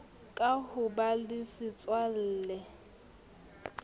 ka ho ba le setswalle